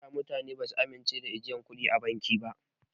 Da mutane basu amince da ajiyan kuɗi a asusun banki ba.